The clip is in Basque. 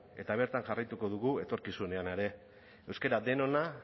eta bertan jarraituko dugu etorkizunean ere euskara denona